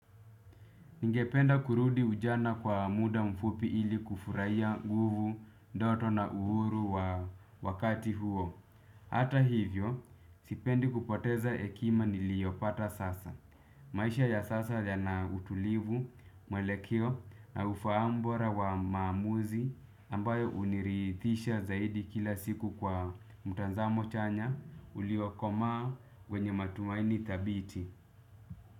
Ningependa kurudi ujana kwa muda mfupi ili kufurahia nguvu, ndoto na uhuru wa wakati huo. Hata hivyo, sipendi kupoteza hekima niliyopata sasa. Maisha ya sasa yana utulivu, mwelekeo na ufahamu bora wa maamuzi ambayo hunirithisha zaidi kila siku kwa mtazamo chanya uliokomaa kwenye matumaini thabiti.